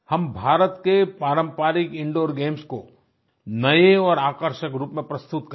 हम भारत के पारम्परिक इंदूर गेम्स को नये और आकर्षक रूप में प्रस्तुत करें